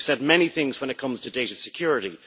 We have said many things when it comes to data security.